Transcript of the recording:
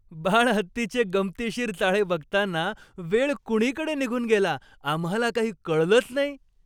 बाळहत्तीचे गमतीशीर चाळे बघताना वेळ कुणीकडे निघून गेला आम्हाला काही कळलंच नाही.